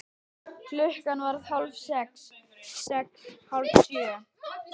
Klukkan varð hálf sex. sex. hálf sjö.